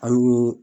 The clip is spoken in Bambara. An ɲe